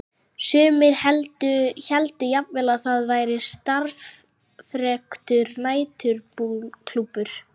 Sumir héldu jafnvel að þar væri starfræktur næturklúbbur.